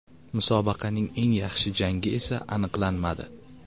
Musobaqaning eng yaxshi jangi esa aniqlanmadi.